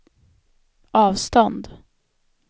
avstånd